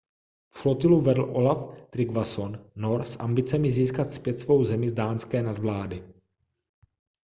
flotilu vedl olaf trygvasson nor s ambicemi získat zpět svou zemi z dánské nadvlády